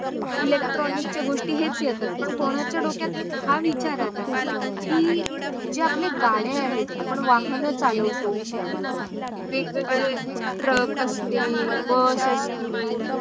electronic चे गोष्टी हेच येतात पण कोण्याचा डोक्यात हा विचार आलाय की जे आपले गाडे आहेत आपण वाहन चालौतो, वेग- वेगडे ट्रक असतील, बस असतील